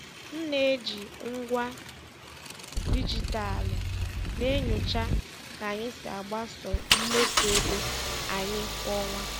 M na-eji ngwa dijitalụ na-enyocha ka anyị si agbaso mmefu ego anyị kwa ọnwa.